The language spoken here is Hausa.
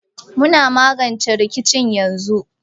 Muna magance rikicin yanzu